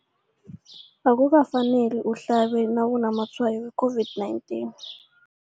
Akuka faneli uhlabe nawu namatshayo we-COVID-19.